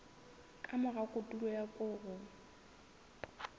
ka mora kotulo ya koro